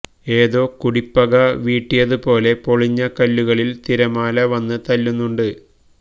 ഏതോ കുടിപ്പക വീട്ടിയതുപോലെ പൊളിഞ്ഞ കല്ലുകളില് തിരമാല വന്ന് തല്ലുന്നുണ്ട്